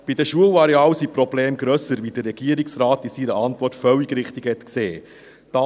Bei den Schularealen sind die Probleme grösser, wie der Regierungsrat in seiner Antwort völlig richtig gesehen hat.